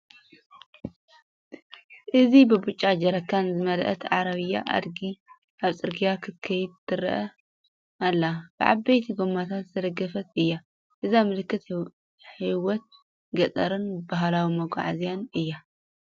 እዚ ብብጫ ጀሪካን ዝመልአት ዓረብያ ኣድጊ ኣብ ጽርግያ ክትከድ ትረአ ኣላ። ብዓበይቲ ጎማታት ዝተደገፈት እያ። እዚ ምልክት ህይወት ገጠርን ባህላዊ መጓዓዝያን'ዩ።